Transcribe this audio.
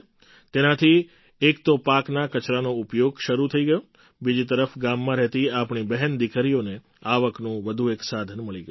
તેનાથી એક તો પાકના કચરાનો ઉપયોગ શરૂ થઈ ગયો બીજી તરફ ગામમાં રહેતી આપણી બહેનદીકરીઓને આવકનું વધુ એક સાધન મળી ગયું